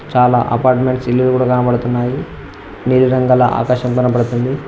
చాలా అపార్ట్మెంట్స్ లేవు కూడా కనబడుతున్నాయి ఏ విధంగా ఆకాశం కనబడుతుంది.